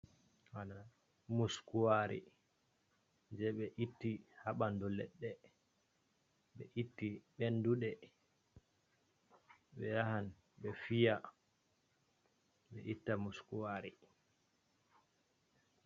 Bana Muskuwari je ɓe itti ha ɓandu leɗɗe, ɓe itti ɓenduɗe, ɓe yahan ɓe fiya ɓe itta muskuwari.